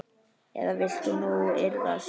Eða viltu nú iðrast?